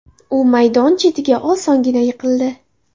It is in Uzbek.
U maydon chetiga osongina yiqildi.